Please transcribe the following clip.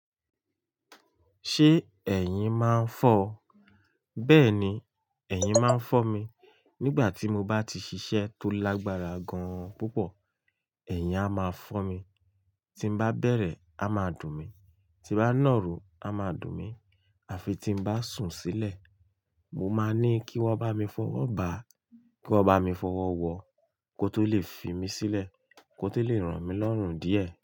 Ṣé ẹ̀yin máa ń fọ́ ọ? Bẹ́ẹ̀ni, ẹ̀yin máa ń fọ́ mi. Nígbà tí mo bá ti ṣiṣẹ́ tó lágbára gan-an púpọ̀, ẹ̀yin á máa fọ́ mi. Tí m bá bẹ̀rẹ̀ á máa dùn mí, tí bá nàro á máa dùn mí, àfi tí m bá sùn sílẹ̀. Mo máa ní kí wọ́n bá mi fọwọ́ bà á, kí wọ́n bá mi fọwọ́ wọ, kó tó lè fi mí sílẹ̀, kó tó lè ràn mí lọ́rùn díẹ̀